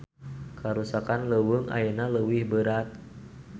Karusakan leuweung ayeuna leuwih beurat